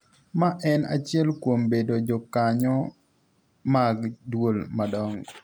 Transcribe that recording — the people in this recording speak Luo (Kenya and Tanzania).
Ma en achiel kuom bedo jokanyo mag duol madongo.